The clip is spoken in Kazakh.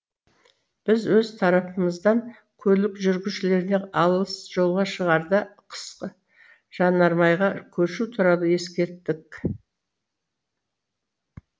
біз өз тарапымыздан көлік жүргізушілеріне алыс жолға шығарда қысқы жанармайға көшу туралы ескерттік